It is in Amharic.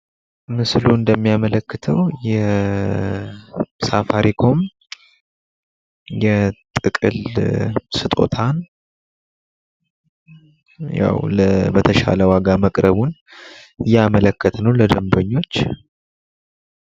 የማስታወቂያ ውጤታማነት መለኪያ እንደ የምርት ሽያጭ መጨመር፣ የደንበኞች ግንዛቤና የድረ-ገጽ ትራፊክ ያሉ አመልካቾችን ያካትታል።